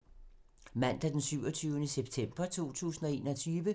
Mandag d. 27. september 2021